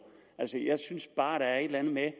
altså jeg synes bare der er et eller andet med